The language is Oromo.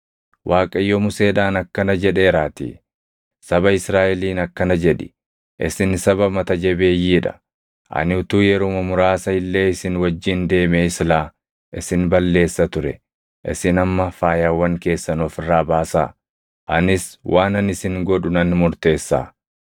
Waaqayyo Museedhaan akkana jedheeraatii; “Saba Israaʼeliin akkana jedhi; ‘Isin saba mata jabeeyyii dha. Ani utuu yeruma muraasa illee isin wajjin deemee silaa isin balleessa ture; isin amma faayawwan keessan of irraa baasaa; anis waanan isin godhu nan murteessaa.’ ”